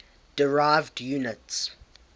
derived units